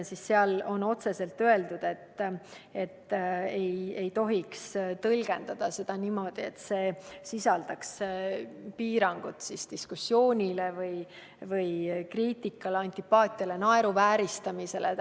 Seal on otse öeldud, et seda ei tohi tõlgendada niimoodi, et see sisaldaks piirangut diskussioonile, kriitikale, antipaatiale või naeruvääristamisele.